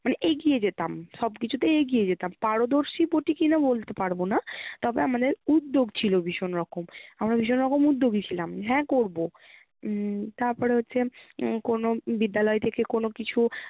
এগিয়ে যেতাম সবকিছুতে এগিয়ে যেতাম পারদর্শীপ্রতি কিনা বলতে পারবো না তবে আমাদের উদ্যোগ ছিল ভীষণ রকম। আমরা ভীষণ রকম উদ্যোগী ছিলাম, হ্যাঁ করবো উম তারপর হচ্ছে হম কোনো বিদ্যালয় থেকে কোনো কিছু